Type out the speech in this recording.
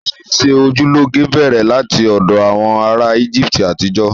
Ṣíṣe ojú lọ́ge bẹ̀rẹ̀ láti ọ̀dọ̀ àwọn ará Íjíbítì àtijọ́